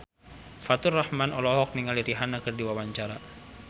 Faturrahman olohok ningali Rihanna keur diwawancara